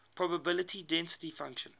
probability density function